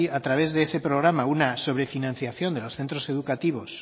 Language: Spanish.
a través de ese programa una sobrefinanciación de los centros educativos